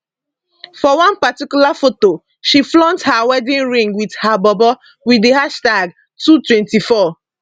for one particular foto she flaunt her wedding ring wit her bobo wit di hashtag two24